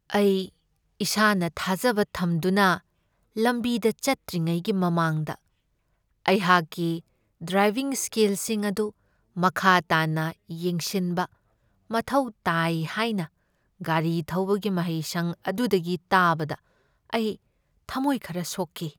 ꯑꯩ ꯏꯁꯥꯅ ꯊꯥꯖꯕ ꯊꯝꯗꯨꯅ ꯂꯝꯕꯤꯗ ꯆꯠꯇ꯭ꯔꯤꯉꯩꯒꯤ ꯃꯃꯥꯡꯗ ꯑꯩꯍꯥꯛꯀꯤ ꯗ꯭ꯔꯥꯏꯚꯤꯡ ꯁ꯭ꯀꯤꯜꯁꯤꯡ ꯑꯗꯨ ꯃꯈꯥ ꯇꯥꯅ ꯌꯦꯡꯁꯤꯟꯕ ꯃꯊꯧ ꯇꯥꯏ ꯍꯥꯏꯅ ꯒꯥꯔꯤ ꯊꯧꯕꯒꯤ ꯃꯍꯩꯁꯪ ꯑꯗꯨꯗꯒꯤ ꯇꯥꯕꯗ ꯑꯩ ꯊꯃꯣꯏ ꯈꯔ ꯁꯣꯛꯈꯤ ꯫